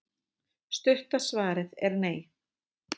stutta svarið er nei